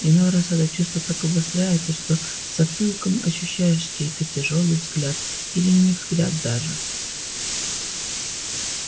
иной раз это чувство так обостряется что затылком ощущаешь чей-то тяжёлый взгляд или не взгляд даже